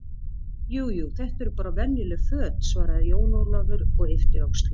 Jú, jú, þetta eru bara venjuleg föt, svaraði Jón Ólafur og yppti öxlum.